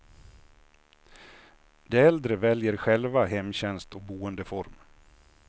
De äldre väljer själva hemtjänst och boendeform.